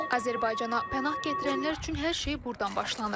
Azərbaycana pənah gətirənlər üçün hər şey burdan başlanır.